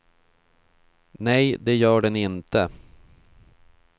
Nej, det gör den inte.